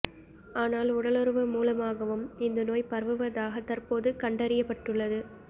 ஆனால் உடலுறவு மூலமாகவும் இந்த நோய் பரவுவதாக தற்போது கண்டறியப்பட்டுள்ளது